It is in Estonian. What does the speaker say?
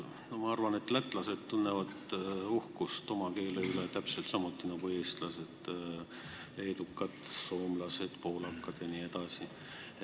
Ma arvan, et lätlased tunnevad oma keele üle uhkust täpselt samuti nagu eestlased, leedukad, soomlased, poolakad jne.